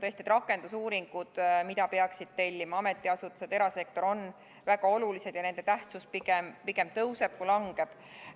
Tõesti, rakendusuuringud, mida peaksid tellima ametiasutused ja erasektor, on väga olulised ja nende tähtsust pigem tõuseb kui langeb.